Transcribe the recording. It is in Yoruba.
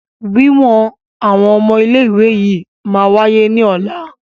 Wíwọn àwọn ọmọ ilé ìwé yìí máa wáyé ní ọ̀la.